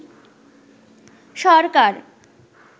সরকার